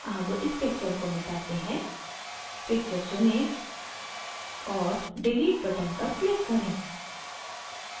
अब इस picture को मिटाते हैं picture चुनें और delete button पर क्लिक करें